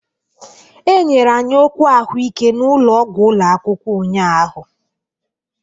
E nyere anyị okwu ahụike n'ụlọọgwụ ụlọ akwụkwọ ụnyahụ.